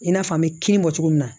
I n'a fɔ an bɛ kini bɔ cogo min na